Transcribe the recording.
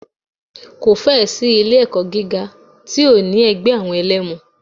Kò fẹ́ ẹ̀ sí ilé ẹ̀kọ́ gíga tí ò ní ẹgbẹ́ àwọn ẹlẹmu.